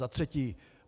Za třetí.